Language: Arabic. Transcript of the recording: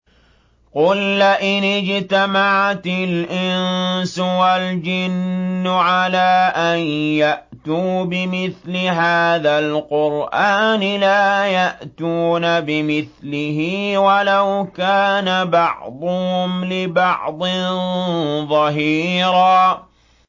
قُل لَّئِنِ اجْتَمَعَتِ الْإِنسُ وَالْجِنُّ عَلَىٰ أَن يَأْتُوا بِمِثْلِ هَٰذَا الْقُرْآنِ لَا يَأْتُونَ بِمِثْلِهِ وَلَوْ كَانَ بَعْضُهُمْ لِبَعْضٍ ظَهِيرًا